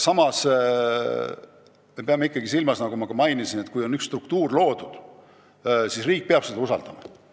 Samas me peame ikkagi silmas eesmärki, et kui on üks struktuur loodud, siis riik peab saama seda usaldada.